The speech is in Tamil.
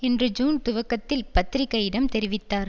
என்று ஜூன் துவக்கத்தில் பத்திரிகையிடம் தெரிவித்தார்